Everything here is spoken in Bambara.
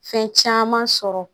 Fɛn caman sɔrɔ